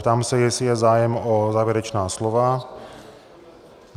Ptám se, jestli je zájem o závěrečná slova.